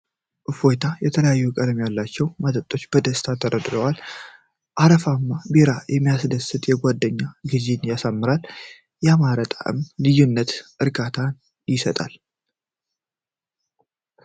እፎይታ! የተለያዩ ቀለማት ያላቸው መጠጦች በደስታ ተደርድረዋል ። አረፋማው ቢራ የሚያስደስት የጓደኝነት ጊዜን ያሳያል ። ያማረ የጣዕም ልዩነት እርካታን ይሰጣል ።